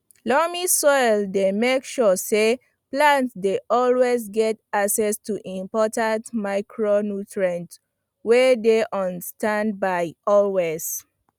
loamy soil dey make sure say plants dey always get access to important micronutrients wey dey on standby always